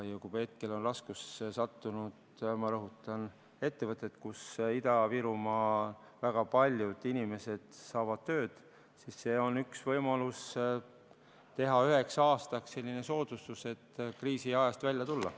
Kui hetkel on raskustesse sattunud, ma rõhutan, ettevõtted, kus väga paljud Ida-Virumaa inimesed saavad tööd, siis see on üks võimalusi teha üheks aastaks selline soodustus, et kriisiajast välja tulla.